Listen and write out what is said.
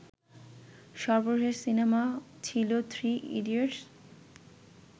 সর্বশেষ সিনেমা ছিলো Three idiots